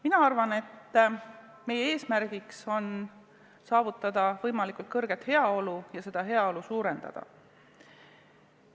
Mina arvan, et meie eesmärk on saavutada võimalikult suur heaolu ja seda pidevalt suurendada.